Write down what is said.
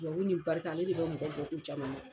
Duwawu ni barika ale de bɛ mɔgɔ bɔ ko caman na.